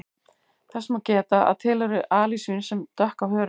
Þess má geta að til eru alisvín sem dökk á hörund.